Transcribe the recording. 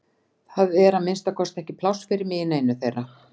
Það er að minnsta kosti ekki pláss fyrir mig í neinu þeirra